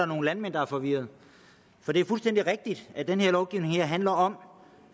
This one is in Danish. nogle landmænd der er forvirrede for det er fuldstændig rigtigt at den her lovgivning handler om